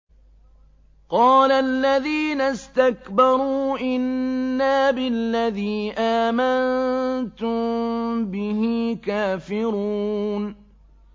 قَالَ الَّذِينَ اسْتَكْبَرُوا إِنَّا بِالَّذِي آمَنتُم بِهِ كَافِرُونَ